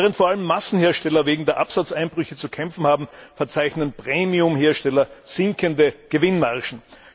Während vor allem Massenhersteller wegen der Absatzeinbrüche zu kämpfen haben, verzeichnen Premiumhersteller sinkende Gewinnmargen.